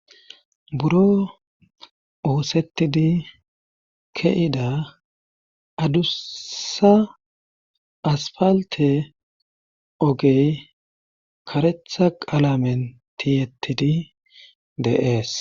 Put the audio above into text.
buro oosettidi keida adussa asfalte ogey karetha qalamen tiyettidi deees